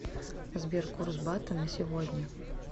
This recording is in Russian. сбер курс бата на сегодня